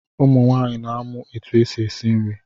Ụmụ nwaanyị na amụ etụ esi esi nri.